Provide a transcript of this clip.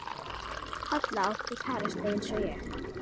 Halla átti kærasta eins og ég.